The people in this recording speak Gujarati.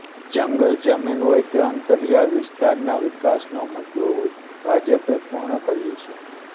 જંગલ જમીન હોય કે અંતરિયાળ વિસ્તારના વિકાસનો મુદ્દો હોય ભાજપે પૂર્ણ કર્યુ છે